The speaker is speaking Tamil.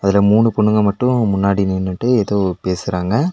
இதுல மூணு பொண்ணுங்க மட்டு முன்னாடி நின்னுட்டு எதோ பேசுறாங்க.